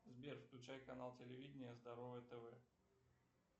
сбер включай канал телевидения здоровое тв